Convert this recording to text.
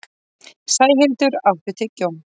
Sæhildur, áttu tyggjó?